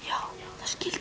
skildi